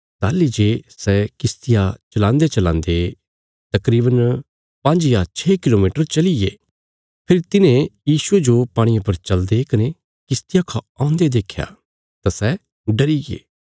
ताहली जे सै किश्तिया चलान्देचलान्दे तकरीवन पांज्ज या छे किलोमीटर चलिये फेरी तिन्हे यीशुये जो पाणिये पर चलदे कने किश्तिया खौ औन्दे देख्या तां सै डरिये